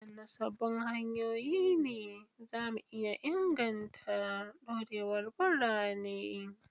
Wadanne sabbin hanyoyi ne za mu iya inganta dorewar birane?